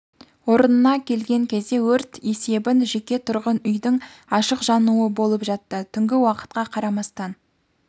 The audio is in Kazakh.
орнына келген кезде өрт есебін жеке тұрғын үйдің ашық жануы болып жатты түнгі уақытқа қарамастан